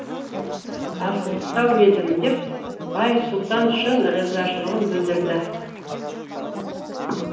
асығыстау едім деп байсұлтан шын ризашылығын білдірді